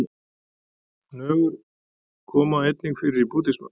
Nögur koma einnig fyrir í búddisma.